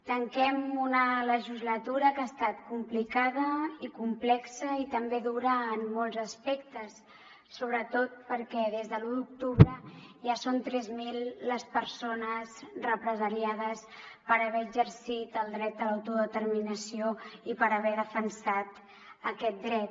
tanquem una legislatura que ha estat complicada i complexa i també dura en molts aspectes sobretot perquè des de l’u d’octubre ja són tres mil les persones represaliades per haver exercit el dret a l’autodeterminació i per haver defensat aquest dret